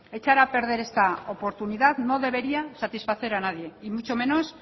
echar a perder esta oportunidad no debería satisfacer a nadie y mucho menos